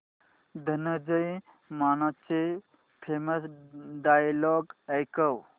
धनंजय मानेचे famous dialogue ऐकव